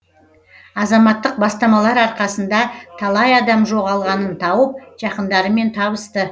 азаматтық бастамалар арқасында талай адам жоғалғанын тауып жақындарымен табысты